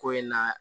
Ko in na